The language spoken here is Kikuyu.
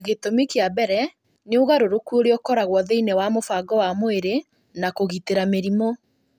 Gĩtũmi kĩa mbere nĩ ũgarũrũku ũrĩa ũkoragwo thĩinĩ wa mũbango wa mwĩrĩ wa kũgitĩra mĩrimũ